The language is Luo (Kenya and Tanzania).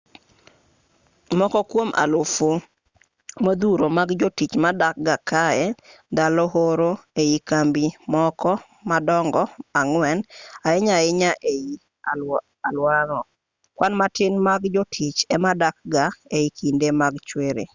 moko kwom alufe modhuro mag jotich dakga kae ndalo oro ei kambi moko madongo ang'wen ahinya ahinya ei aluorano kwan matin mag jotich emadakga e kinde mag chwiri